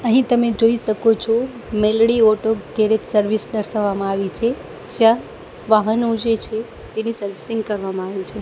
અહીં તમે જોઈ શકો છો મેલડી ઓટો ગેરેજ સર્વિસ દર્શાવામાં આવી છે જ્યાં વાહનો જે છે તેની સર્વિસિંગ કરવામાં આવે છે.